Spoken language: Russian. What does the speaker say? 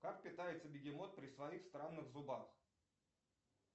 как питается бегемот при своих странных зубах